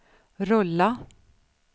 rulla